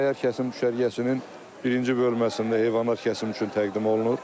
Səyyar kəsim düşərgəsinin birinci bölməsində heyvanlar kəsim üçün təqdim olunur.